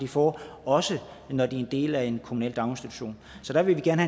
får også når de er en del af en kommunal daginstitution så jeg vil gerne